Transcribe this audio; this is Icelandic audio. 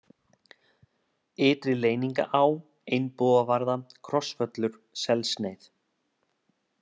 Ytri-Leyningaá, Einbúavarða, Krossvöllur, Selssneið